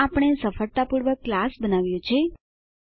આમ આપણે સફળતાપૂર્વક ક્લાસ બનાવ્યો છે